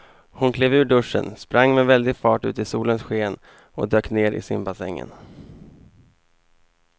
Hon klev ur duschen, sprang med väldig fart ut i solens sken och dök ner i simbassängen.